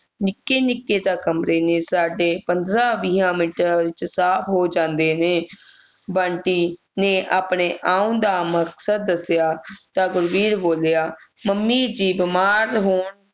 ਨਿੱਕੇ ਨਿੱਕੇ ਤੇ ਕਮਰੇ ਨੇ ਸਾਡੇ ਪੰਦਰਾਂ-ਵੀਹਾਂ ਮਿੰਟਾਂ ਵਿੱਚ ਸਾਫ ਹੋ ਜਾਂਦੇ ਨੇ ਬੰਟੀ ਨੇ ਆਪਣੇ ਆਉਣ ਦਾ ਮਕਸਦ ਦੱਸਿਆ ਤਾਂ ਗੁਰਬੀਰ ਬੋਲਿਆ ਮੰਮੀ ਦੇ ਬਿਮਾਰ ਹੋਣ